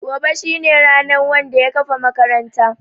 Gobe shine ranan Wanda ya kafa makaranta.